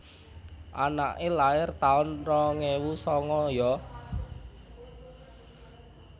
Anake lair taun rong ewu sanga yo